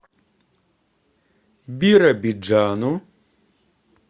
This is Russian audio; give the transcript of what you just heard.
биробиджану